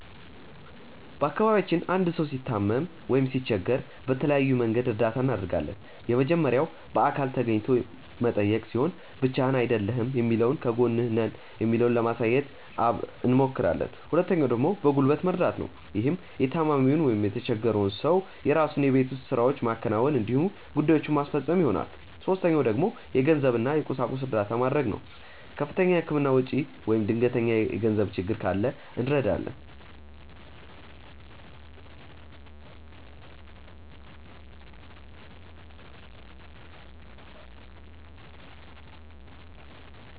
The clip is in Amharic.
በአካባቢያችን አንድ ሰው ሲታመም ወይም ሲቸገር በተለያየ መንገድ እርዳታ እናደርጋለን። የመጀመሪያው በአካል ተገኝቶ መጠየቅ ሲሆን ብቻህን አይደለህም የሚለውን ከጎንህ ነን የሚለውን ለማሳየት አብሞክራለን። ሁለተኛው ደግሞ በጉልበት መርደት ነው። ይህም የታማሚውን ወይም የተቸፈረውን ሰው የራሱን የቤት ውስጥ ስራዎች ማከናወን እንዲሁም ጉዳዬችን ማስፈፀን ይሆናል። ሶስተኛው ደግሞ የገንዘብ እና የቁሳቁስ እርዳታ መድረግ ነው። ከፍተኛ የህክምና ወጪ ወይም ድንገተኛ የገንዘብ ችግር ካለ እንረዳለን።